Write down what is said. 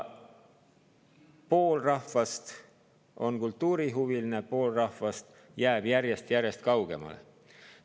Pool rahvast on kultuurihuviline, aga pool rahvast jääb järjest-järjest kaugemale.